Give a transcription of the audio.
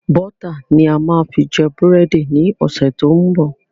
Bọ́tà ni a máa fi jẹ búrẹ́dì ni ọ̀sẹ̀ tó ń bọ̀